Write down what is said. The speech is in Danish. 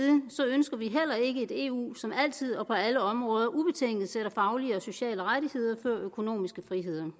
ønsker vi heller ikke et eu som altid og på alle områder ubetinget sætter faglige og sociale rettigheder før økonomiske friheder